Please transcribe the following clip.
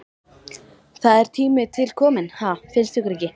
Það er tími til kominn, ha, finnst ykkur ekki?